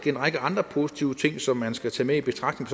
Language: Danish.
en række andre positive ting som man skal tage med i betragtning